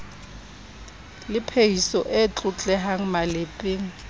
le phehiso e tlotlehang malepeng